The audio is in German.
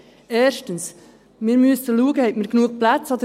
Erstens müssen wir schauen, ob wir genug Platz haben.